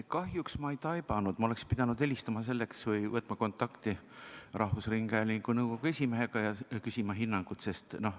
Kahjuks ma ei taibanud, et ma oleksin pidanud helistama selleks või võtma kontakti rahvusringhäälingu nõukogu esimehega ja küsima hinnangut.